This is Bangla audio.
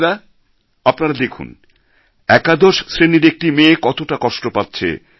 বোনেরা আপনারা দেখুন একাদশ শ্রেণির একটি মেয়ে কতটা কষ্ট পাচ্ছে